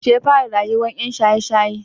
Yaushe yafara rayuwan yan shaye shaye?